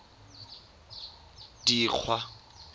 dikgwa